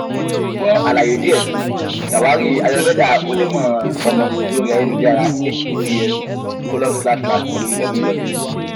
fun alaye diẹ sii ṣawari ayurveda onimọ-ọmọ lori ayelujara https colon slash slash www